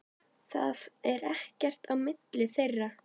Það er ekkert á milli þeirra.